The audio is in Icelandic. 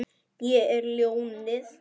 Ég er ljónið.